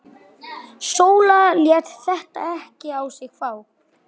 Í draumi sínum getur hann ekki óskað þess þær hverfi.